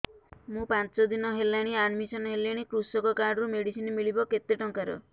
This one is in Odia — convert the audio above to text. ମୁ ପାଞ୍ଚ ଦିନ ହେଲାଣି ଆଡ୍ମିଶନ ହେଲିଣି କୃଷକ କାର୍ଡ ରୁ ମେଡିସିନ ମିଳିବ କେତେ ଟଙ୍କାର